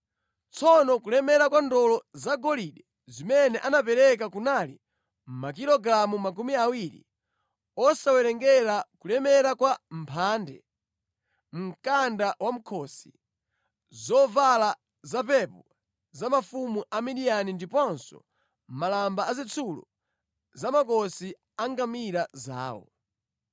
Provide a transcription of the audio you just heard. Tsono kulemera kwa ndolo zagolide zimene anapereka kunali makilogalamu makumi awiri, osawerengera kulemera kwa mphande, mkanda wamʼkhosi, zovala zapepo za mafumu a Midiyani ndiponso malamba azitsulo za mʼmakosi a ngamira zawo.